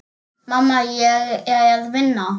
Mamma, ég er að vinna.